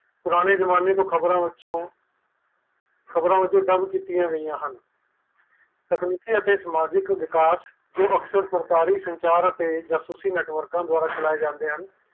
ਪੁਰਾਣੇ ਜਮਾਨੇ ਤੋਂ ਖ਼ਬਰ ਵਿੱਚੋ ਸਥਿਤੀ ਅਤੇ ਸਮਾਜਿਕ ਵਿਕਾਸ ਜੋ ਅਕਸਰ ਸਰਕਾਰੀ ਸੰਚਾਰ ਅਤੇ ਜਾਸੂਸੀ ਨੈੱਟਵਰਕ ਵਲੋਂ ਚਲਾਏ ਜਾਰੇ ਆਂ